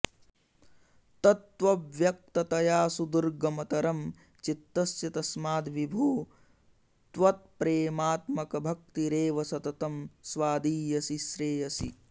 तत्त्वव्यक्ततया सुदुर्गमतरं चित्तस्य तस्माद्विभो त्वत्प्रेमात्मकभक्तिरेव सततं स्वादीयसी श्रेयसी